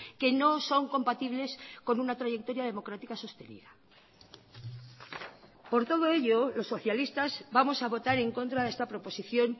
que no son compatibles con una trayectoria democrática sostenida por todo ello los socialistas vamos a votar en contra de esta proposición